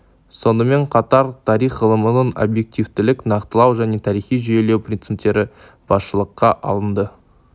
сонымен қатар тарих ғылымының объективтілік нақтылау және тарихи жүйелеу принциптері басшылыққа алынды